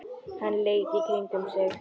Hann leit í kringum sig.